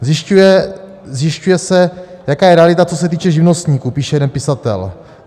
Zjišťuje se, jaká je realita, co se týče živnostníků, píše jeden pisatel.